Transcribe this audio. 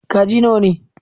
Kaji nawa ne?